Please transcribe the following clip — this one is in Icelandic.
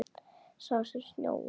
Sá sem snjóar í.